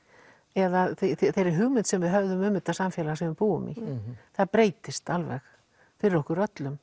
eða þeirri hugmynd sem við höfum um þetta samfélag sem við búum í það breytist alveg fyrir okkur öllum